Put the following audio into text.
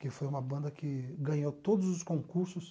que foi uma banda que ganhou todos os concursos.